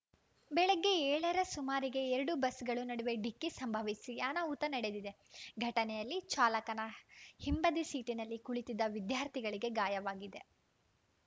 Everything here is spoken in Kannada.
ಬೆಳಗ್ಗೆ ಏಳರ ಸುಮಾರಿಗೆ ಎರಡೂ ಬಸ್‌ಗಳ ನಡುವೆ ಡಿಕ್ಕಿ ಸಂಭವಿಸಿ ಅನಾಹುತ ನಡೆದಿದೆ ಘಟನೆಯಲ್ಲಿ ಚಾಲಕನ ಹಿಂಬದಿ ಸೀಟಿನಲ್ಲಿ ಕುಳಿತಿದ್ದ ವಿದ್ಯಾರ್ಥಿಗಳಿಗೆ ಗಾಯವಾಗಿದೆ